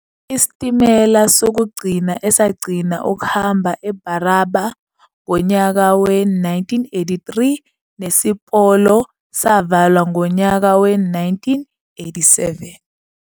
Isitimela sokugcina esagcina ukuhamba eBarraba ngonyaka we-1983 nesipolo savalwa ngonyaka we-1987.